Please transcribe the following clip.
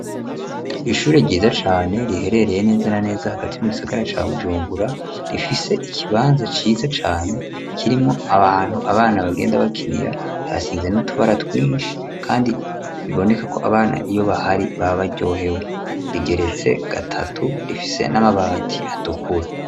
ishure ryiza cane riherereye neza na neza hagati mu gisagara ca Bujumbura, rifise ikibanza ciza cane kirimwo abantu abana bagenda bakinira harasize n,utubara twinshi kandi biboneka ko abana iyo bahari baba baryohewe, rigeretse gatatu rifise n'amabati atukura.